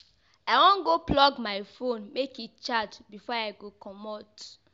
I wan go plug my fone make e charge before I go comot.